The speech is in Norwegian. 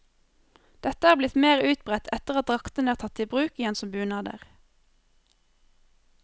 Dette er blitt mer utbredt etter at draktene er tatt i bruk igjen som bunader.